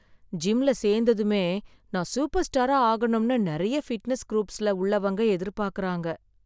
ஜிம்ல சேந்ததுமே நான் சூப்பர்ஸ்டாரா ஆகணும்னு நிறைய ஃபிட்னஸ் குரூப்ஸ்ல உள்ளவங்க எதிர்பார்க்கிறாங்க